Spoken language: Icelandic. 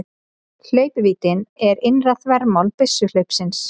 Hlaupvíddin er innra þvermál byssuhlaupsins.